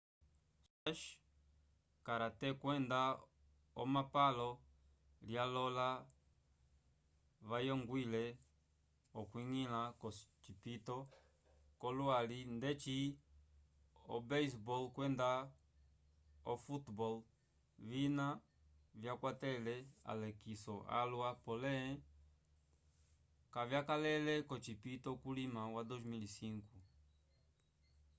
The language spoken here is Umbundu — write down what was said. squash karate kwenda omapalo lyalola vayongwile okwiñgila k'ocipito c'olwali ndeci o-basebol kwenda o-softball vina vyakwatele alekiso alwa pole kavyakalele k'ocipito culima wa 2005